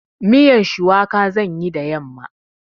Miyan shuwaka zan yi da yamma.